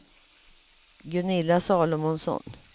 Gunilla Salomonsson